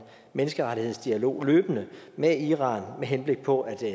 menneskerettighedsdialog med iran med henblik på at